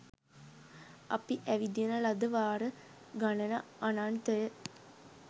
අපි ඇවිදින ලද වාර ගණන අනන්තය